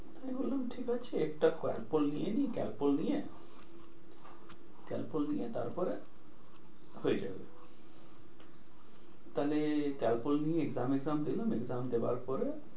আমি বললাম ঠিক আছে একটা Calpol নিয়ে নি Calpol নিয়ে Calpol নিয়ে তারপরে হয়ে যাবে। তাহলে Calpol নিয়ে exam দিলাম exam দেয়ার পরে,